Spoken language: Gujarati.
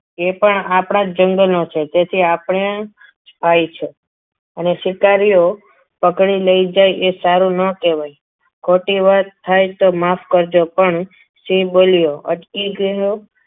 તે પણ આપણા જંગલનો છે તેથી આપણા ભાઈ છો અને શિકારીઓ પકડી લઈ જાય એ સારું ના કહેવાય ખોટી વાત થાય તો માફ કરજો પણ સિંહ બોલ્યું અટકી ગયો.